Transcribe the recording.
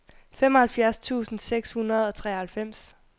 femoghalvfems tusind seks hundrede og treoghalvfems